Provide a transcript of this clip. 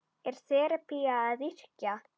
Er þerapía að yrkja?